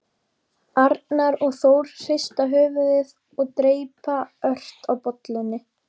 Arnar og Þór hrista höfuðið og dreypa ört á bollunni.